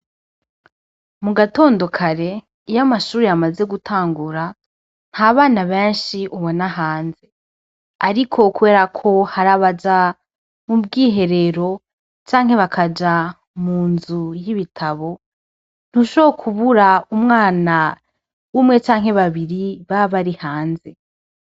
Mugatondo kare iyo amashure yamaze gutangura nta bana benshi ubona hanze , ariko kubera ko hari abaja mu bwiherero canke bakaja mu nzu y'ibitabo , ntushobora kubura umwana umwe canke babiri baba bari hanze